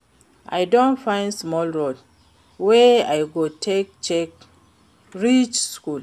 I don find small road wey I go take quick reach school.